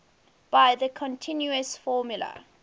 by the continuous formula